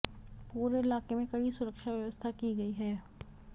पूरे इलाके में कड़ी सुरक्षा व्यवस्था की गई है